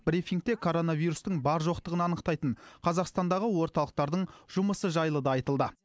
брифингте коронавирустың бар жоқтығын анықтайтын қазақстандағы орталықтардың жұмысы жайлы да айтылды